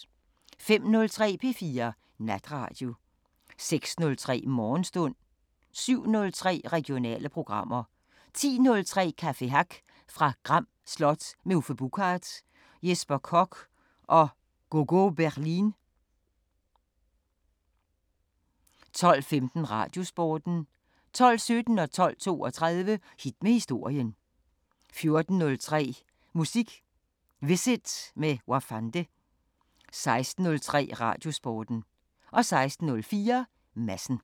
05:03: P4 Natradio 06:03: Morgenstund 07:03: Regionale programmer 10:03: Café Hack fra Gram Slot – med Uffe Buchard, Jesper Koch og Go Go Berlin 12:15: Radiosporten 12:17: Hit med historien 12:32: Hit med historien 14:03: Musik Visit med Wafande 16:03: Radiosporten 16:04: Madsen